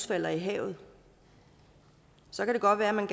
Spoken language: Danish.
falder i havet så kan det godt være at man